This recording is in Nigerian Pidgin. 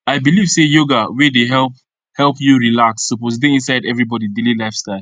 i believe say yoga wey dey help help you relax suppose dey inside everybody daily lifestyle